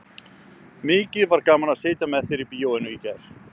Mikið var gaman að sitja með þér í bíóinu í gær.